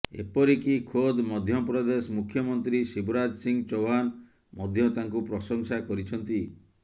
ଏପରିକି ଖୋଦ୍ ମଧ୍ୟପ୍ରଦେଶ ମୁଖ୍ୟମନ୍ତ୍ରୀ ଶିବରାଜ ସିଂହ ଚୌହାନ ମଧ୍ୟ ତାଙ୍କୁ ପ୍ରଂଶସା କରିଛନ୍ତି